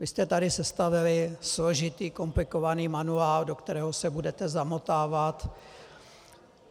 Vy jste tady sestavili složitý, komplikovaný manuál, do kterého se budete zamotávat.